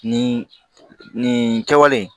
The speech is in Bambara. Nin nin nin kɛwale in